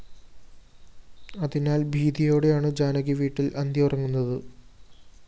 അതിനാല്‍ ഭീതിയോടെയാണ് ജാനകി വീട്ടില്‍ അന്തിയുറങ്ങുന്നത്